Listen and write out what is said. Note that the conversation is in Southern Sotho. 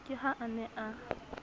ke ha a ne a